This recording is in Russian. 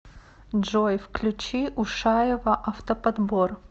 джой включи ушаева автоподбор